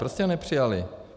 Proč jste ho nepřijali?